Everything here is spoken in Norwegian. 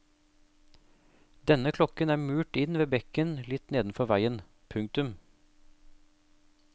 Denne klokken er murt inn ved bekken litt nedenfor veien. punktum